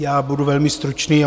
Já budu velmi stručný.